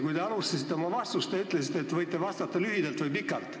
Kui te alustasite oma vastust, siis te ütlesite, et võite vastata lühidalt või pikalt.